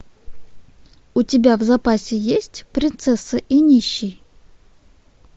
у тебя в запасе есть принцесса и нищий